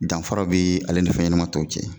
Danfaraw bi ale ni fɛn ɲɛnaman tɔw cɛ.